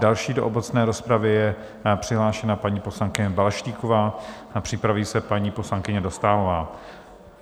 Další do obecné rozpravy je přihlášena paní poslankyně Balaštíková a připraví se paní poslankyně Dostálová.